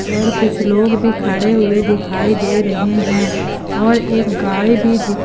और कुछ लोग भी खड़े हुए दिखाई दे रहे हैं और एक गाय भी।